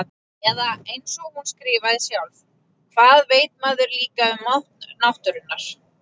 Eða einsog hún skrifaði sjálf: Hvað veit maður líka um mátt náttúrunnar.